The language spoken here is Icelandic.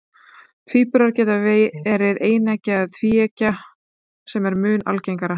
Tvíburar geta verið eineggja eða tvíeggja, sem er mun algengara.